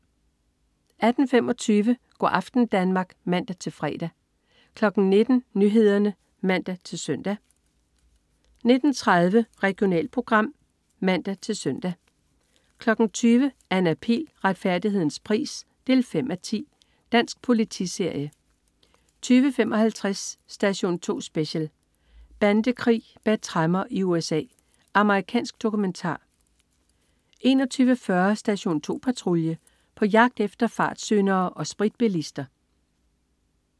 18.25 Go' aften Danmark (man-fre) 19.00 Nyhederne (man-søn) 19.30 Regionalprogram (man-søn) 20.00 Anna Pihl. Retfærdighedens pris 5:10. Dansk politiserie 20.55 Station 2 Special: Bandekrig bag tremmer i USA. Amerikansk dokumentar 21.40 Station 2 Patrulje. På jagt efter fartsyndere og spritbilister